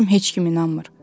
mən deyirəm heç kim inanmır.